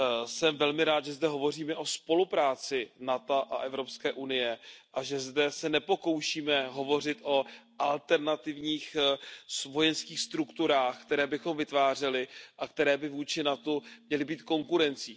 Jsem velmi rád, že zde hovoříme o spolupráci NATO a EU a že zde se nepokoušíme hovořit o alternativních vojenských strukturách, které bychom vytvářeli a které by vůči NATO měly být konkurencí.